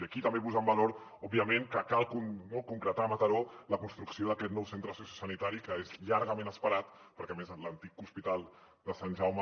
i aquí també posem en valor òbviament que cal concretar a mataró la construcció d’aquest nou centre sociosanitari que és llargament esperat perquè a més l’antic hospital de sant jaume